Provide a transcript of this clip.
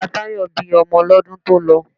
Ìyá Táyọ̀ bí ọmọ lọ́dún tó lọ.